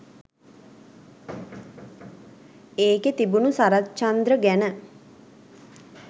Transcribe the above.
ඒකෙ තිබුණ සරච්චන්ද්‍ර ගැන